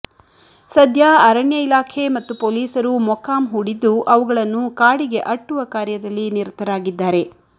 ಸದ್ಯ ಅರಣ್ಯ ಇಲಾಖೆ ಮತ್ತು ಪೊಲೀಸರು ಮೊಕ್ಕಾಂ ಹೂಡಿದ್ದು ಅವುಗಳನ್ನು ಕಾಡಿಗೆ ಅಟ್ಟುವ ಕಾರ್ಯದಲ್ಲಿ ನಿರತರಾಗಿದ್ದಾರೆ